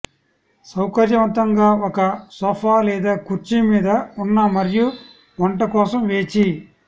సౌకర్యవంతంగా ఒక సోఫా లేదా కుర్చీ మీద ఉన్న మరియు వంట కోసం వేచి